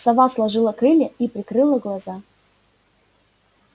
сова сложила крылья и прикрыла глаза